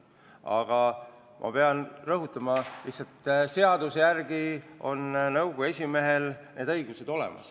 Aga ma pean rõhutama, et lihtsalt seaduse järgi on nõukogu esimehel need õigused olemas.